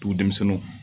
Dugu denmisɛnninw